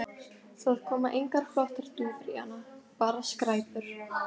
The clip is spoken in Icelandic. Það koma engar flottar dúfur í hana, bara skræpur